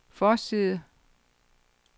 forside